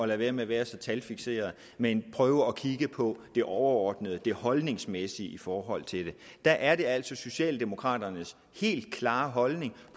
være med at være så talfikseret men prøver at kigge på det overordnede det holdningsmæssige i forhold til det og der er det altså socialdemokraternes helt klare holdning at